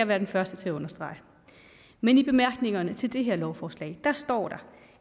være den første til at understrege men i bemærkningerne til det her lovforslag står der